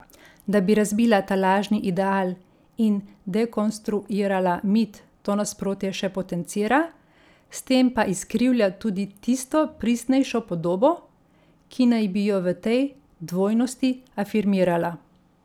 Da bi razbila ta lažni ideal in dekonstruirala mit to nasprotje še potencira, s tem pa izkrivlja tudi tisto pristnejšo podobo, ki naj bi jo v tej dvojnosti afirmirala.